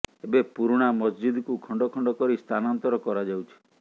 ଏବେ ପୁରୁଣା ମସ୍ଜିଦ୍କୁ ଖଣ୍ଡ ଖଣ୍ଡ କରି ସ୍ଥାନାନ୍ତର କରାଯାଉଛି